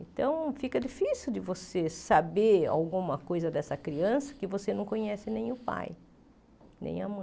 Então, fica difícil de você saber alguma coisa dessa criança que você não conhece nem o pai, nem a mãe.